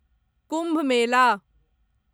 Kumbh Mela